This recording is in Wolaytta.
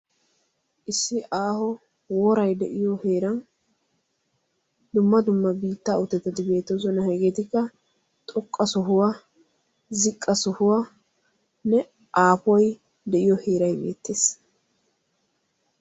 Issi aaho woraay de'yo heeran dumma dumma biittaa uttettati beettoosona, hegeetikka xooqqa sohuwa ziqqa sohuwanne aappoy de'iyo heeray beettees.